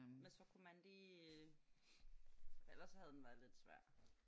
Men så kunne man lige ellers så havde den været lidt svær